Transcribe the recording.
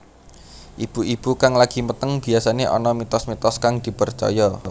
Ibu ibu kang lagi meteng biyasané ana mitos mitos kang dipercaya